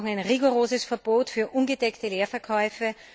Wir brauchen ein rigoroses Verbot für ungedeckte Leerverkäufe.